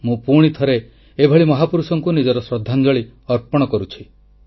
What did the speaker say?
ମୁଁ ପୁଣି ଥରେ ଏଭଳି ମହାପୁରୁଷଙ୍କୁ ନିଜର ଶ୍ରଦ୍ଧାଞ୍ଜଳି ଅର୍ପଣ କରୁଛି